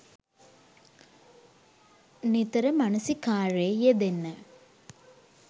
නිතර මනසිකාරයේ යෙදෙන්න.